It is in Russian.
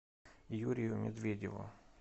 юрию медведеву